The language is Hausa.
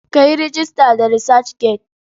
Ka yi rejista da Research Gate.